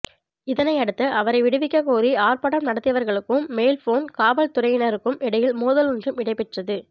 இதனையடுத்து அவரை விடுவிக்கக்கோரி ஆர்ப்பாட்டம் நடத்தியவர்களுக்கும் மெல்போன் காவல்துறையினருக்கும் இடையில் மோதல் ஒன்றும் இடம்பெற்றது